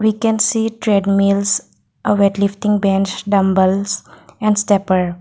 we can see treadmills a weightlifting bench dumbbells and stepper.